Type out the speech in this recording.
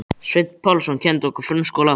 Sveinn Pálsson kenndi okkur frönsku og latínu.